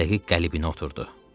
Öz dəqiq qəlibinə oturdu.